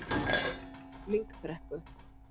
Lyngbrekku